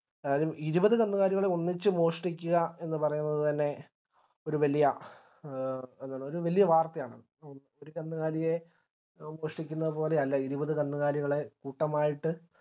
അതായത് ഇരുപത് കന്നുകാലികളെ ഒന്നിച്ച് മോഷ്ട്ടിക്കുക എന്ന് പറയുന്നത് തന്നെ ഒരു വല്യ എ എങ്ങനെ ഒരു വല്യ വാർത്തയാണ് ഒരു കന്നുകാലിയെ മോഷ്ടിക്കുന്നത് പോലെയല്ല ഇരുപത് കന്നുകാലികളെ കൂട്ടമായിട്ട്